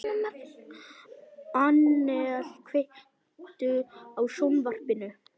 Annel, kveiktu á sjónvarpinu.